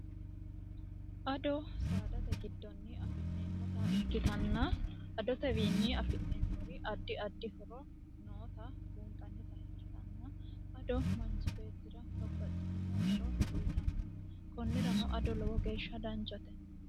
ado saadate giddonni afi'neemmota ikkitanna adotewiinni afi'neemmori addi addi horo noota buunxannita ikkitanna ado manchi beettira babbaxxilino horo uyitanno kunnirano ado lowo geeshsha danchote